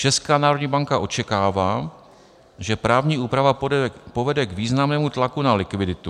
Česká národní banka očekává, že právní úprava povede k významnému tlaku na likviditu.